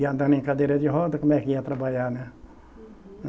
E andando em cadeira de roda, como é que ia trabalhar, né? Uhum